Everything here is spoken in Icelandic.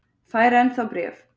Fær enn þá bréf